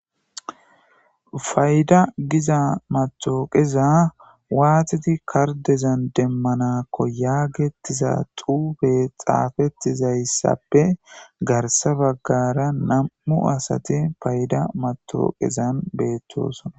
fayda giza matooqeza waatidi kardezan demmanakko yaagettiza xuube xaafettizayssappe garsa baggara na7u asati fayda matooqezan beettosona